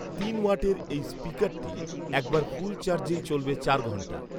তিন ওয়াটের এই ষ্পিকারটি একবার ফুল চার্জেই চলবে চার ঘণ্টা